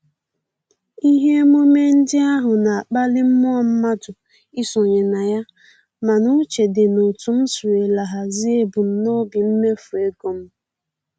Ihe emume ndị ahụ na-akpali mmụọ mmadụ isonye na ya, mana uche dị n'otu m sirila hazie ebumnobi mmefu ego m